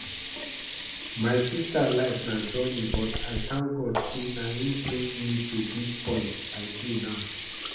My sister life na journey but I thank God say na im bring me to dis point I dey now